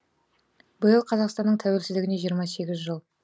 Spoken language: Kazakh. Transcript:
биыл қазақстанның тәуелсіздігіне жиырма сегіз жыл